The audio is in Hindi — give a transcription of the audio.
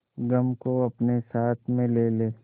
गम को अपने साथ में ले ले